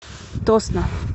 тосно